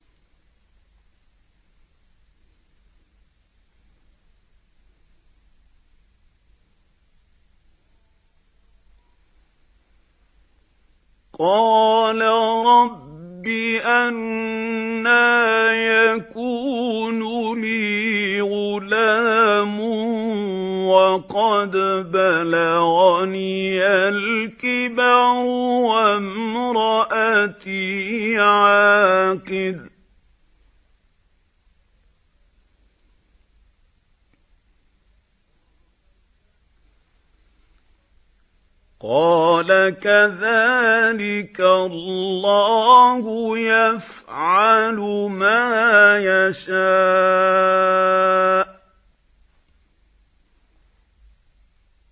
قَالَ رَبِّ أَنَّىٰ يَكُونُ لِي غُلَامٌ وَقَدْ بَلَغَنِيَ الْكِبَرُ وَامْرَأَتِي عَاقِرٌ ۖ قَالَ كَذَٰلِكَ اللَّهُ يَفْعَلُ مَا يَشَاءُ